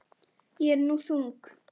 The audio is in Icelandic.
Ég er nú þung.